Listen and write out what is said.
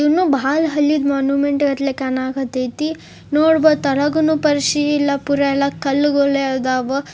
ಇನ್ನೂ ಬಾಳ್ ಹಳೀ ಮಾನ್ಯುಮೆಂಟಗತಿ ಕಾಣ ಕತೈತಿ ನೋಡ್ಬನು ತಳಗೂನು ಪರ್ಷಿ ರಾಪೂರ ಎಲ್ಲಾ ಕಲ್ಲುಗಳೇ ಅದಾವ.